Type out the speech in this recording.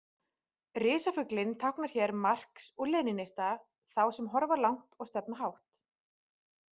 Risafuglinn táknar hér marx- og lenínista, þá sem horfa langt og stefna hátt.